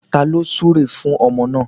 Taló súre fún ọmọ náà